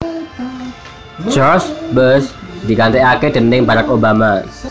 George Bush digantèkaké déning Barack Obama